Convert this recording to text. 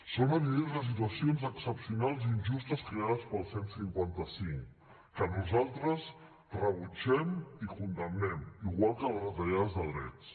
són evidents les situacions excepcionals i injustes creades pel cent i cinquanta cinc que nosaltres rebutgem i condemnem igual que les retallades de drets